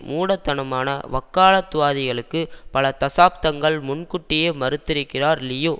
மூடத்தனமான வக்காலத்துவாதிகளுக்கு பல தசாப்தங்கள் முன்கூட்டியே மறுத்துரைக்கிறார் லியோ